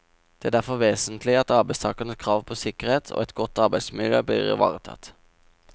Det er derfor vesentlig at arbeidstakernes krav på sikkerhet og et godt arbeidsmiljø blir ivaretatt.